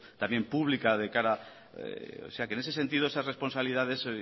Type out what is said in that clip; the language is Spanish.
también pública de cara o sea que en ese sentido esas responsabilidades